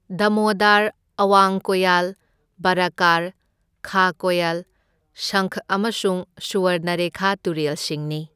ꯗꯥꯃꯣꯗꯔ, ꯑꯋꯥꯡ ꯀꯣꯌꯜ, ꯕꯔꯥꯀꯔ, ꯈꯥ ꯀꯣꯌꯜ, ꯁꯪꯈ ꯑꯃꯁꯨꯡ ꯁꯨꯋꯔꯅꯔꯦꯈꯥ ꯇꯨꯔꯦꯜꯁꯤꯡꯅꯤ꯫